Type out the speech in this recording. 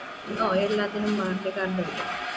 ഓ എല്ലാത്തിനും warranty card ഉണ്ട്